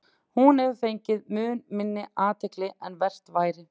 Hún hefur fengið mun minni athygli en vert væri.